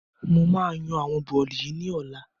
Mo máa yan àwọn bọ́lì yìí ni ọ̀la